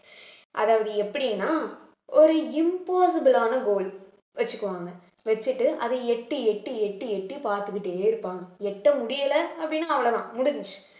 அதாவது எப்படின்னா ஒரு impossible ஆன goal வெச்சுக்குவாங்க வெச்சுட்டு அதை எட்டி எட்டி எட்டி எட்டி பார்த்துக்கிட்டே இருப்பாங்க எட்ட முடியலை அப்படின்னா அவ்வளவுதான் முடிஞ்சுச்சு